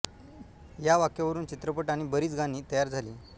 या वाक्यावरुन चित्रपट आणि बरीच गाणी तयार झाली